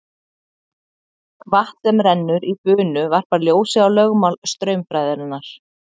Vatn sem rennur í bunu varpar ljósi á lögmál straumfræðinnar.